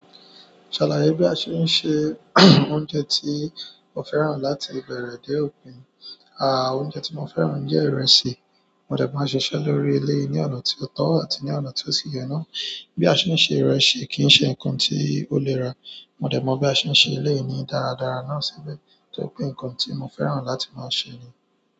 Ṣàlàyé bí a ṣe ń se oúnjẹ tí o fẹ́ràn láti ìbẹ̀rẹ̀ dé òpin. À, oúnjẹ tí mo fẹ́ràn jẹ́ ìrẹsì. Mo dẹ̀ mọ́ bí a ṣe ń ṣe ọ́ lórí eleyi ní ọ̀nà tí ó tọ́ àti ní ọ̀nà tí ó sì ye nà. Bí a ṣe ń ṣe ìrẹsì kì í ṣe nǹkan tí ó lera. Mó dẹ̀ mọ́ bí a ṣe ń ṣe eleyii ní dáradára náà síbẹ̀ tó ri pé nǹkan tí mo fẹ́ràn láti máa ṣe ni.